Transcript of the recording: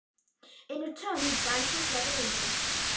. aftur á móti dansar hann eins og engill.